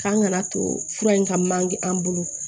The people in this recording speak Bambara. K'an kana to fura in ka manje an bolo